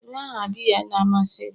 Kedu aha biya na-amasị gi?